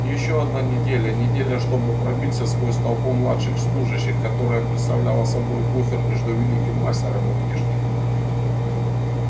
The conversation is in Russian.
и ещё одна неделя неделя чтобы пробиться сквозь толпу младших служащих которая представляла собой буфер между великим мастером и внешним миром